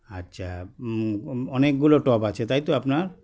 আচ্ছা হুম অনেকগুলো tub আছে তাইতো আপনার